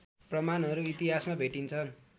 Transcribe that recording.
प्रमाणहरू इतिहासमा भेटिन्छन्